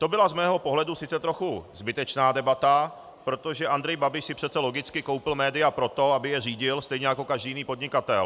To byla z mého pohledu sice trochu zbytečná debata, protože Andrej Babiš si přece logicky koupil média proto, aby je řídil, stejně jako každý jiný podnikatel.